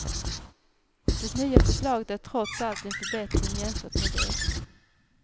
Det nya förslaget är trots allt en förbättring jämfört med det.